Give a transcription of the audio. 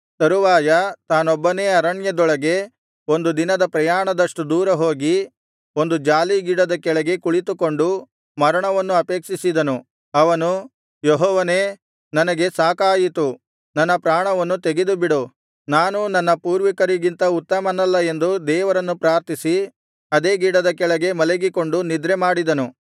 ತರುವಾಯ ತಾನೊಬ್ಬನೇ ಅರಣ್ಯದೊಳಗೆ ಒಂದು ದಿನದ ಪ್ರಯಾಣದಷ್ಟು ದೂರ ಹೋಗಿ ಒಂದು ಜಾಲೀ ಗಿಡದ ಕೆಳಗೆ ಕುಳಿತುಕೊಂಡು ಮರಣವನ್ನು ಅಪೇಕ್ಷಿಸಿದನು ಅವನು ಯೆಹೋವನೇ ನನಗೆ ಸಾಕಾಯಿತು ನನ್ನ ಪ್ರಾಣವನ್ನು ತೆಗೆದುಬಿಡು ನಾನು ನನ್ನ ಪೂರ್ವಿಕರಿಗಿಂತ ಉತ್ತಮನಲ್ಲ ಎಂದು ದೇವರನ್ನು ಪ್ರಾರ್ಥಿಸಿ ಅದೇ ಗಿಡದ ಕೆಳಗೆ ಮಲಗಿಕೊಂಡು ನಿದ್ರೆ ಮಾಡಿದನು